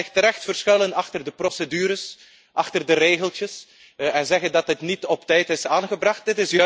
U kan zich terecht verschuilen achter de procedures, achter de regeltjes en zeggen dat dit niet op tijd is aangebracht.